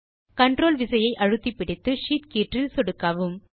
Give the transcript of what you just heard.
control விசையை அழுத்தி பிடித்து ஷீட் கீற்றில் சொடுக்கவும்